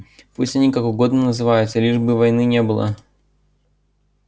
пусть они как угодно называются лишь бы войны не было